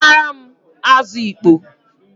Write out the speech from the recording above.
Zutaram azụ ịkpọ!